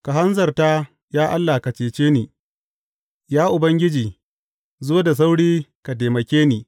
Ka hanzarta, ya Allah, ka cece ni; Ya Ubangiji, zo da sauri ka taimake ni.